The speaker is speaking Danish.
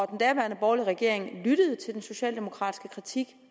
den daværende borgerlige regering lyttede til den socialdemokratiske kritik